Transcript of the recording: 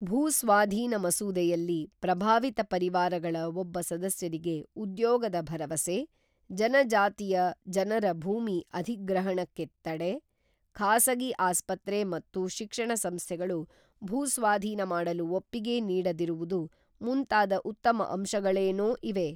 ಭೂಸ್ವಾಧೀನ ಮಸೂದೆಯಲ್ಲಿ ಪ್ರಭಾವಿತ ಪರಿವಾರಗಳ ಒಬ್ಬ ಸದಸ್ಯರಿಗೆ ಉದ್ಯೋಗದ ಭರವಸೆ, ಜನಜಾತಿಯ ಜನರ ಭೂಮಿ ಅಧಿಗ್ರಹಣಕ್ಕೆ ತಡೆ, ಖಾಸಗಿ ಆಸ್ಪತ್ರೆ ಮತ್ತು ಶಿಕ್ಷಣ ಸಂಸ್ಥೆಗಳು ಭೂ ಸ್ವಾಧೀನ ಮಾಡಲು ಒಪ್ಪಿಗೆ ನೀಡದಿರುವುದು ಮುಂತಾದ ಉತ್ತಮ ಅಂಶಗಳೇನೋ ಇವೆ.